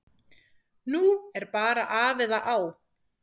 Nú er bara af eða á.